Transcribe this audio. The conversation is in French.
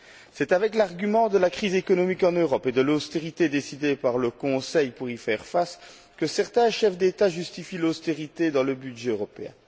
C'est avec l'argument de la crise économique en Europe et de l'austérité décidée par le Conseil pour y faire face que certains chefs d'État justifient l'austérité dans le budget européen.